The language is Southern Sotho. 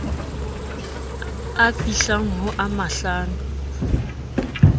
a fihlang ho a mahlano